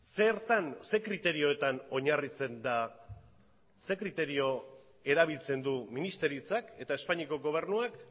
zertan ze kriterioetan oinarritzen da ze kriterio erabiltzen du ministeritzak eta espainiako gobernuak